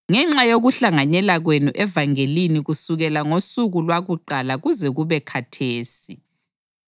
ngenxa yokuhlanganyela kwenu evangelini kusukela ngosuku lwakuqala kuze kube khathesi,